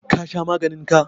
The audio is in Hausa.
ka Sha maganin ka?